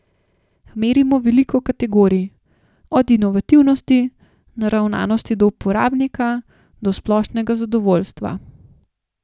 Merimo veliko kategorij, od inovativnosti, naravnanosti do uporabnika do splošnega zadovoljstva.